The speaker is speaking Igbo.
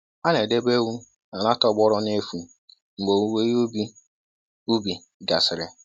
A na-edebe ewu n'ala tọgbọrọ n'efu mgbe owuwe ihe ubi ubi gasịrị.